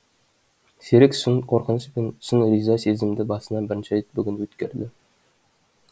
серік шын қорқыныш пен шын риза сезімді басынан бірінші рет бүгін өткерді